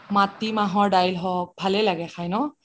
মাটি মাহৰ দাইল হওক ভালে লাগে ন খাই